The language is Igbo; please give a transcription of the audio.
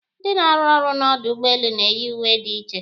Ndị na-arụ ọrụ n'ọdụ ụgbọelu na-eyi uwe dị iche